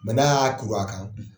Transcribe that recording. n'a ya kuru a kan